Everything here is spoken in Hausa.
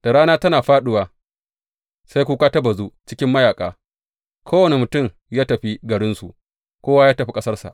Da rana tana fāɗuwa, sai kuka ta bazu cikin mayaƙa, Kowane mutum ya tafi garinsu; kowa ya tafi ƙasarsa!